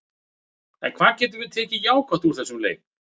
En hvað getum við tekið jákvætt úr þessum leik?